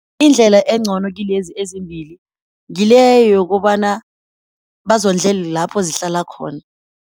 Indlela engcono kilezi ezimbili ngile yokobana bazondlele lapho zihlala khona.